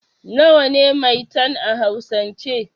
Nawa ne 'Maitan' a hausan ce?